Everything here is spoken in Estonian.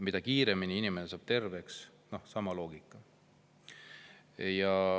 Mida kiiremini inimene saab terveks – sama loogika.